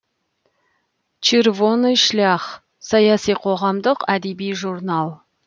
чырво ны шлях саяси қоғамдық әдеби журнал